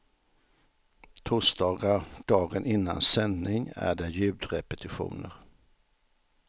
Torsdagar dagen innan sändning är det ljudrepetitioner.